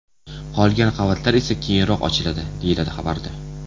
Qolgan qavatlar esa keyinroq ochiladi, deyiladi xabarda.